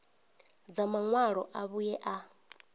dza maṅwalo a vhuṋe a